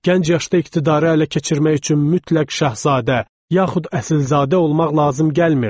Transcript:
Gənc yaşda iqtidarı ələ keçirmək üçün mütləq şahzadə, yaxud əsilzadə olmaq lazım gəlmirdi.